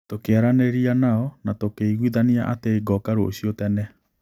Tũkĩaranĩria nao, na tũkĩiguithania atĩ ngũũka rũciũ tene.